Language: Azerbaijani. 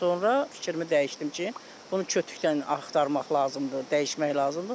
Sonra fikrimi dəyişdim ki, bunu kütükdən axtarmaq lazımdır, dəyişmək lazımdır.